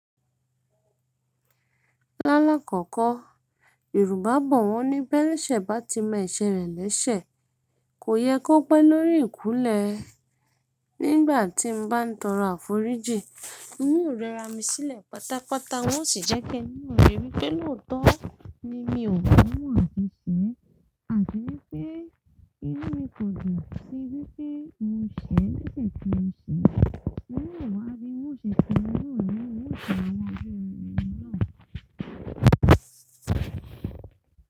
Lálá kọ̀kọ̀ Yorùbá bọ̀ wọ́n ní be elese bá ti mọ ese rẹ lẹ́sẹ̀, kò yẹ kó pẹ́ lórí ìkúnlẹ̀. Nígbà tí mo bá ń tọrọ àforíjì, ún o rẹ ra mi sílẹ̀ pátápátá wọ́n sì jẹ́ pé inú mi rí pé lóòótọ́ ni mi ò mọ̀ àti sẹ, àti wípé inú mi kò jù sí bí pé mo ṣẹ̀ lẹ́sẹ̀ tí mo ṣẹ̀. Ìnú mi wá bí mo ṣẹ̀ pé inú mi ni ìṣọ̀ ọmọ ẹbí mi náà.